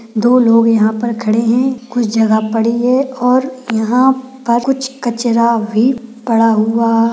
दो लोग यहा पर खड़े है कुछ जगा पड़ी है और यहा पर कुछ कचरा भी पड़ा हुआ--